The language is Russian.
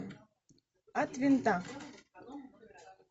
от винта